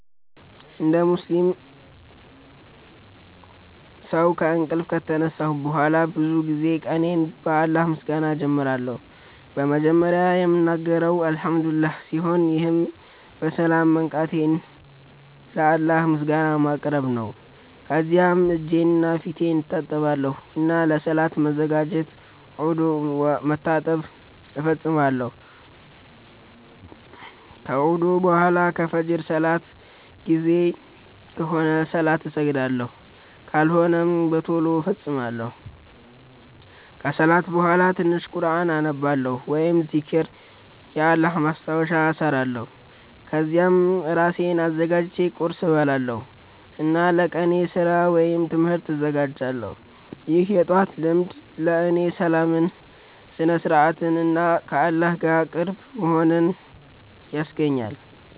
እንደ ሙስሊም ሰው ከእንቅልፍ ከተነሳሁ በኋላ ብዙ ጊዜ ቀኔን በአላህ ምስጋና እጀምራለሁ። መጀመሪያ የምናገረው “አልሐምዱሊላህ” ሲሆን ይህም በሰላም መንቃቴን ለአላህ ምስጋና ማቅረብ ነው። ከዚያም እጄንና ፊቴን እታጠባለሁ እና ለሰላት ለመዘጋጀት ውዱእ (መታጠብ) እፈጽማለሁ። ከውዱእ በኋላ ከፍጅር ሰላት ጊዜ ከሆነ ሰላት እሰግዳለሁ፣ ካልሆነም በቶሎ እፈጽማለሁ። ከሰላት በኋላ ትንሽ ቁርኣን አነባለሁ ወይም ዚክር (የአላህ ማስታወሻ) እሰራለሁ። ከዚያም እራሴን አዘጋጅቼ ቁርስ እበላለሁ እና ለቀኔ ስራ ወይም ትምህርት እዘጋጃለሁ። ይህ የጠዋት ልማድ ለእኔ ሰላምን፣ ስነ-ስርዓትን እና ከአላህ ጋር ቅርብ መሆንን ያስገኛል።